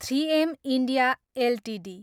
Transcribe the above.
three M India Ltd